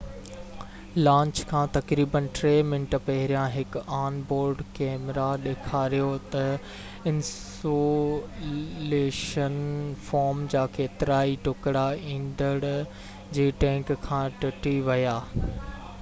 launch کان تقريبن 3 منٽ پهريان هڪ آن بورڊ ڪئميرا ڏيکاريو ته انسيوليشن فوم جا ڪيترائي ٽڪرا ايندڻ جي ٽينڪ کان ٽٽي ويا